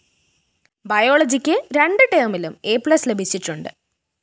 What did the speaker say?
ബയോളജിക്ക് രണ്ട് ടേമിലും എപ്ലസ് ലഭിച്ചിട്ടുണ്ട്